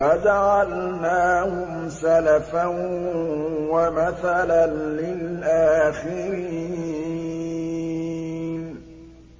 فَجَعَلْنَاهُمْ سَلَفًا وَمَثَلًا لِّلْآخِرِينَ